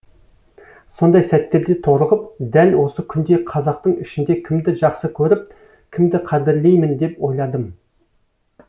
сондай сәттерде торығып дәл осы күнде қазақтың ішінде кімді жақсы көріп кімді қадірлеймін деп ойладым